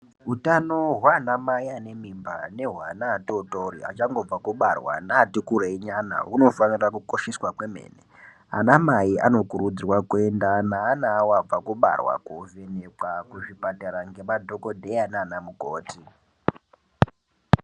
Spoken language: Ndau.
Hutano hwanamai anemimba nehwana atotori achangobve kubarwa neati kurei nyana hunofanira kukosheswa kwemene, anamai anokurudzirwa kuenda neana awo abva kubarwa kovhenekwa kuzvipatara ngemadhokodheya nana mukoti.